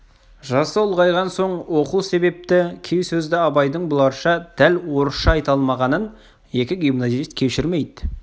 жасы ұлғайған соң оқу себепті кей сөзді абайдың бұларша дәл орысша айта алмағанын екі гимназист кешірмейді